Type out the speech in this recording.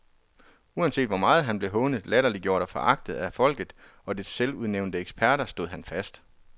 Uanset hvor meget han blev hånet, latterliggjort og foragtet af folket og dets selvudnævnte eksperter, stod han fast.